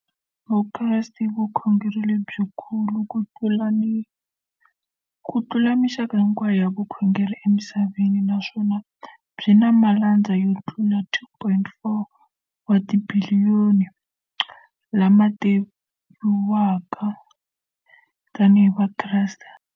Vukreste i vukhongeri lebyi kulu kutlula mixaka hinkwayo ya vukhongeri emisaveni, naswona byi na malandza yo tlula 2.4 wa tibiliyoni, la ma tiviwaka tani hi Vakreste.